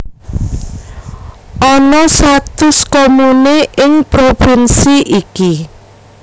Ana satus comune ing provinsi iki